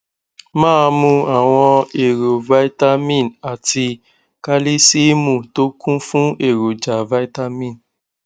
máa mu àwọn èròjà vitamin àti kálísìììmù tó kún fún èròjà vitamin